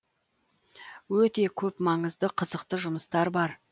өте көп маңызды қызықты жұмыстар бар